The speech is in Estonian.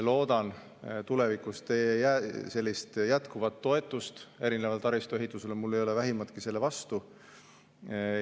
Loodan tulevikus teie jätkuvat toetust taristuehitusele, mul ei ole vähimatki selle vastu.